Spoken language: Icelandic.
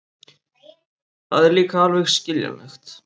Það er líka alveg skiljanlegt.